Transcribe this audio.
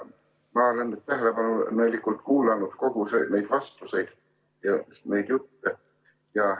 Ma olen tähelepanelikult kuulanud neid vastuseid ja neid jutte.